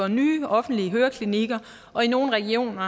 nye offentlige høreklinikker og i nogle regioner